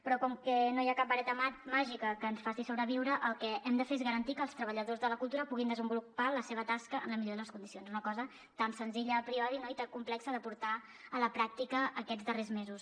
però com que no hi ha cap vareta màgica que ens faci sobreviure el que hem de fer és garantir que els treballadors de la cultura puguin desenvolupar la seva tasca en la millor de les condicions una cosa tan senzilla a priori no i tan complexa de portar a la pràctica aquests darrers mesos